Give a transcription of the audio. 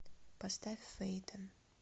поставь фэйтон